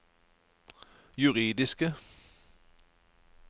juridiske